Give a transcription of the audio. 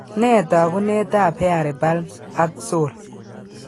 Nee taakunetaab hairy palms ak sole?